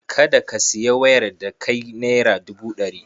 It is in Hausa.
Kada ka sayi wayar da kai naira dubu ɗari.